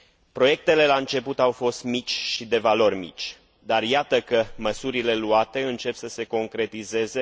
Proiectele la început au fost mici și de valori mici, dar iată că măsurile luate încep să se concretizeze.